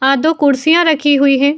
अ दो कुर्सियाँ रखी हुई है।